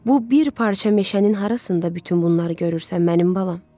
Bu bir parça meşənin harasında bütün bunları görürsən mənim balam?